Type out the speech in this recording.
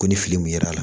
Ko ni fili min kɛra la